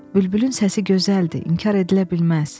Bülbülün səsi gözəldir, inkar edilə bilməz.